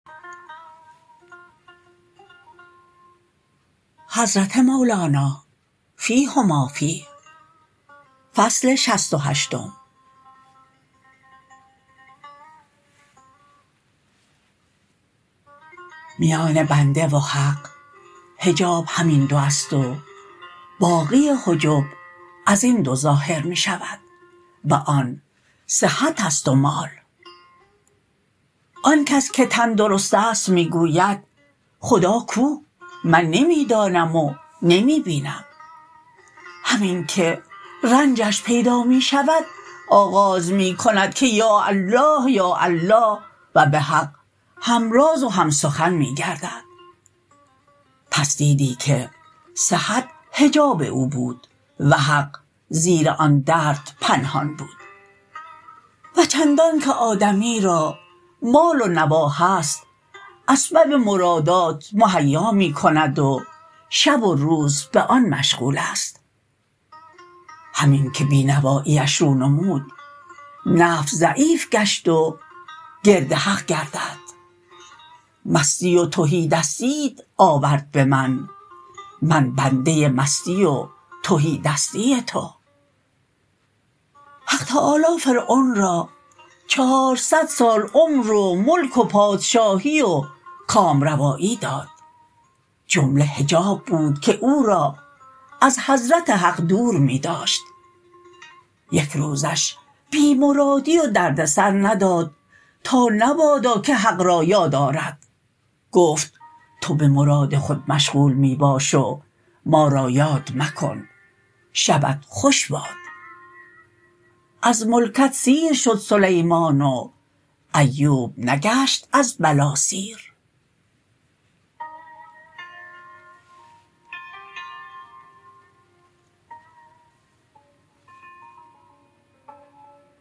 میان بنده و حق حجاب همین دو است و باقی حجب ازین دو ظاهر می شود و آن صحت است و مال آنکس که تن درست است می گوید خدا کو من نمی دانم و نمی بینم همین که رنجش پیدا می شود آغاز می کند که یاالله یاالله و به حق همراز و هم سخن می گردد پس دیدی که صحت حجاب او بود و حق زیر آن درد پنهان بود و چندانک آدمی را مال و نوا هست اسبب مرادات مهیا می کند و شب و روز به آن مشغول است همین که بی نوایی اش رو نمود نفس ضعیف گشت و گرد حق گردد بیت شعر مستی و تهی دستیت آورد به من من بنده مستی و تهی دستی تو حق تعالی فرعون را چهارصد سال عمر و ملک و پادشاهی و کامروایی داد جمله حجاب بود که او را از حضرت حق دور می داشت یک روزش بی مرادی و دردسر نداد تا نبادا که حق را یادآرد گفت تو به مراد خود مشغول می باش و ما را یاد مکن شبت خوش باد بیت شعر از ملکت سیر شد سلیمان و ایوب نگشت از بلا سیر